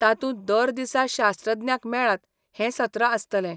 तातूंत दर दिसा शास्त्रज्ञांक मेळात हें सत्र आसतलें.